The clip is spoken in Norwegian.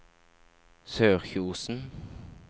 Sørkjosen